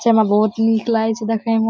छे म बहुत नीक लगाई छे देखे म।